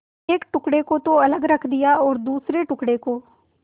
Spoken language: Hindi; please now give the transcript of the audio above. एक टुकड़े को तो अलग रख दिया और दूसरे टुकड़े को